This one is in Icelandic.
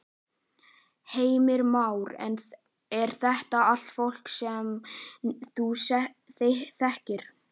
Heimir Már: Er þetta allt fólk sem þú þekkir?